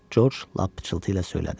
George lap pıçıltıyla söylədi.